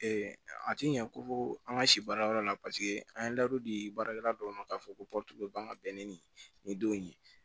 a ti ɲɛ ko fo an ka si baarayɔrɔ la paseke an ye ladon di baarakɛla dɔw ma k'a fɔ ko ka bɛn ni denw ye